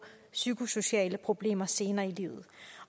psykosociale problemer senere i livet